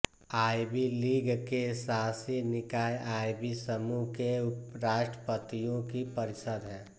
ivy League के शासी निकाय आइवी समूह के राष्ट्रपतियों की परिषद है